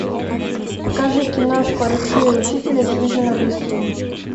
покажи киношку алексея учителя хижина в лесу